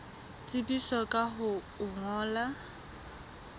tsebisa ka ho o ngolla